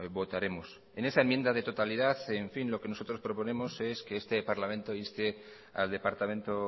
votaremos en esa enmienda de totalidad lo que nosotros proponemos es que este parlamento inste al departamento